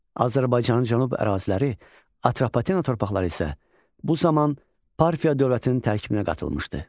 Azərbaycanın cənub əraziləri, Atropatena torpaqları isə bu zaman Parfiya dövlətinin tərkibinə qatılmışdı.